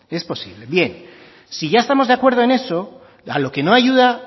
es posible bien si ya estamos de acuerdo en eso lo que no ayuda